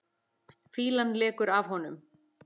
Fýlan lekur af honum.